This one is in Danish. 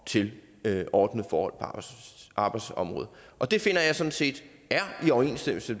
til ordnede forhold på arbejdsområdet det finder jeg sådan set er i overensstemmelse